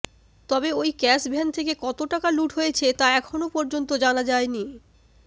তবে ওই ক্যাশভ্যান থেকে কত টাকা লুট হয়েছে তা এখনও পর্যন্ত জানা যায়নি